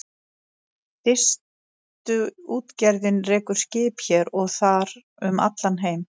Distuútgerðin rekur skip hér og þar um allan heim.